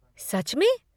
सच में!?